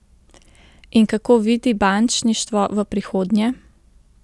In kako vidi bančništvo v prihodnje?